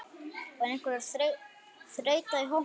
Var einhver þreyta í hópnum?